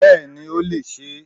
Bẹ́ẹ̀ni ó lè sé